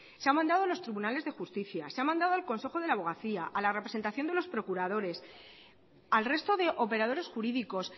se ha mandando a los tribunales de justicia se ha mandado al consejo de la abogacía a la representación de los procuradores al resto de operadores jurídicos